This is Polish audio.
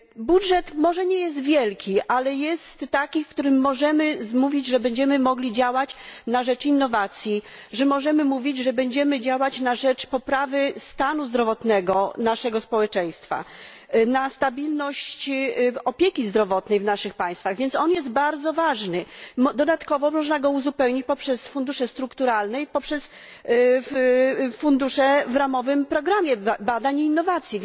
Budżet może nie jest wielki, ale jest taki, o którym możemy mówić, że będziemy mogli działać na rzecz innowacji, że możemy mówić, że będziemy działać na rzecz poprawy stanu zdrowotnego naszego społeczeństwa, na rzecz stabilności opieki zdrowotnej w naszych państwach. Więc jest on bardzo ważny. Dodatkowo można go uzupełnić funduszami strukturalnymi i funduszami w ramowym programie badań i innowacji.